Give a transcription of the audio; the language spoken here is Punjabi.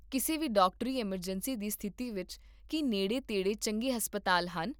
ਕਿਸੇ ਵੀ ਡਾਕਟਰੀ ਐੱਮਰਜੈਂਸੀ ਦੀ ਸਥਿਤੀ ਵਿੱਚ, ਕੀ ਨੇੜੇ ਤੇੜੇ ਚੰਗੇ ਹਸਪਤਾਲ ਹਨ?